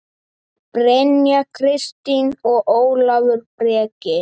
Brynja Kristín og Ólafur Breki.